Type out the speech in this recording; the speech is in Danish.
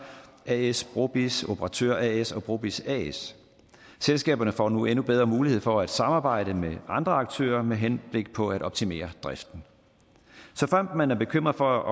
as brobizz operatør as og brobizz as selskaberne får nu endnu bedre mulighed for at samarbejde med andre aktører med henblik på at optimere driften såfremt man er bekymret for